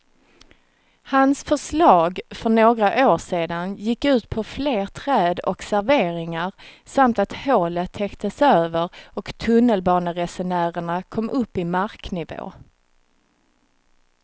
Hans förslag för några år sedan gick ut på fler träd och serveringar samt att hålet täcktes över och tunnelbaneresenärerna kom upp i marknivå.